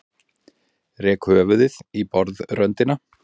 Rek höfuðið í borðröndina.